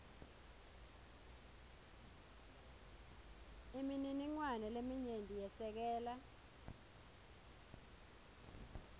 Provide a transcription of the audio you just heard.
imininingwane leminyenti yesekela